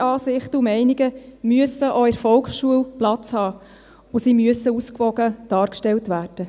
Unterschiedliche Ansichten und Meinungen müssen auch in der Volksschule Platz haben, und sie müssen ausgewogen dargestellt werden.